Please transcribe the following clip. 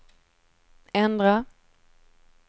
ändra